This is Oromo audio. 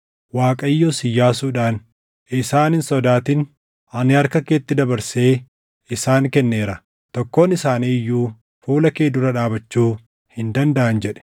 Waaqayyos Iyyaasuudhaan, “Isaan hin sodaatin; ani harka keetti dabarsee isaan kenneera. Tokkoon isaanii iyyuu fuula kee dura dhaabachuu hin dandaʼan” jedhe.